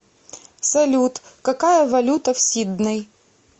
салют какая валюта в сидней